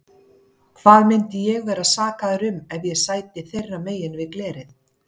Hvað myndi ég vera sakaður um ef ég sæti þeirra megin við glerið?